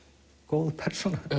góð persóna